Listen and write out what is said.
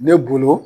Ne bolo